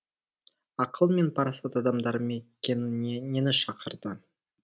ақыл мен парасат адамдар мекеніне нені шақырды